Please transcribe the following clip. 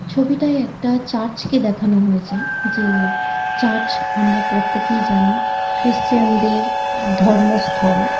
ছবিটায় একটা চার্চ কে দেখানো হয়েছে যে চার্চ আমরা প্রত্যেকেই জানি ক্রিস্টিয়ান দের ধর্ম স্থল।